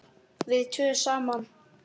Við tvö saman.